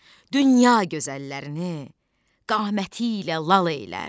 Dünya gözəllərini qaməti ilə lal elər.